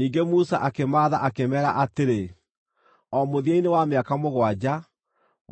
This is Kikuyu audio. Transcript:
Ningĩ Musa akĩmaatha akĩmeera atĩrĩ, “O mũthia-inĩ wa mĩaka mũgwanja,